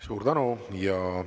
Suur tänu!